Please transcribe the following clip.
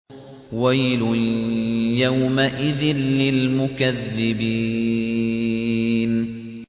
وَيْلٌ يَوْمَئِذٍ لِّلْمُكَذِّبِينَ